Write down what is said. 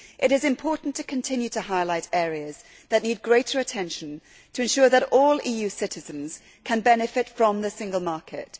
It is important to continue to highlight areas that need greater attention to ensure that all EU citizens can benefit from the single market.